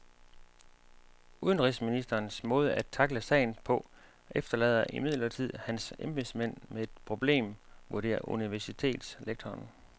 Udenrigsministerens måde at tackle sagen på efterlader imidlertid hans embedsmænd med et problem, vurderer universitetslektoren.